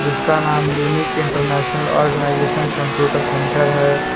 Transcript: इसका नाम unique international organisation computer centre है।